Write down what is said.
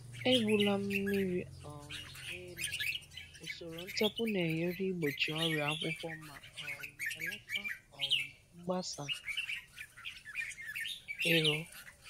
Egbula mmiri um n’elu; usoro ntapu na-enyere igbochi ọrịa akwụkwọ ma um belata um mgbasa ero.